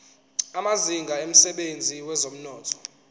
amazinga emsebenzini wezomnotho